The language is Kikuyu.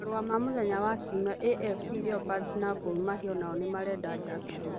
(Marũa ma mũthenya wa Kiumia) AFC Leopards na Gor Mahia o nao nĩ marenda Jackson.